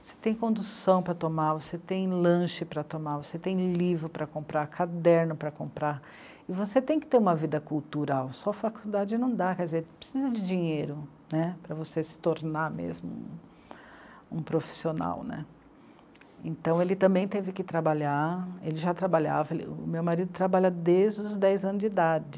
você tem condução para tomar, você tem lanche para tomar, você tem livro para comprar, caderno para comprar e você tem que ter uma vida cultural, só faculdade não dá, quer dizer, precisa de dinheiro, né, para você se tornar mesmo um profissional, né? Então ele também teve que trabalhar, ele já trabalhava, ele, o meu marido trabalha desde os dez anos de idade.